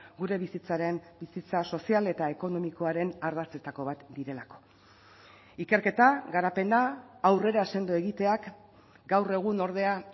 gure bizitzaren bizitza sozial eta ekonomikoaren ardatzetako bat direlako ikerketa garapena aurrera sendo egiteak gaur egun ordea